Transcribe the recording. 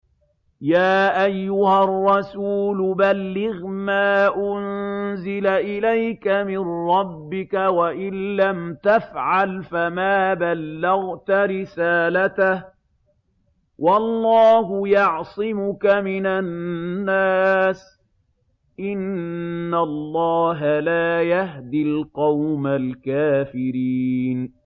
۞ يَا أَيُّهَا الرَّسُولُ بَلِّغْ مَا أُنزِلَ إِلَيْكَ مِن رَّبِّكَ ۖ وَإِن لَّمْ تَفْعَلْ فَمَا بَلَّغْتَ رِسَالَتَهُ ۚ وَاللَّهُ يَعْصِمُكَ مِنَ النَّاسِ ۗ إِنَّ اللَّهَ لَا يَهْدِي الْقَوْمَ الْكَافِرِينَ